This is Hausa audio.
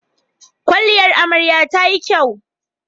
kwalliyar amaryar tayi kyau